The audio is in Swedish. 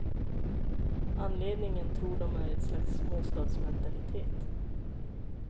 Anledningen tror de är ett slags småstadsmentalitet.